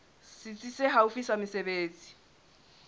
setsi se haufi sa mesebetsi